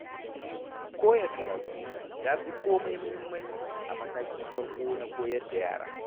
Koya karatu ya fi komai muhimmanci a matakin farko na koyar da yara.